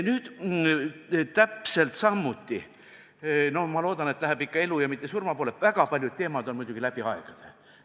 Nüüd võib täpselt samuti öelda – ma loodan, et läheme ikka elu ja mitte surma poole –, et väga paljud teemad püsivad läbi aegade.